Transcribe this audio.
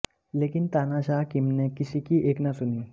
लेकिन तानाशाह किम ने किसी की एक ना सुनी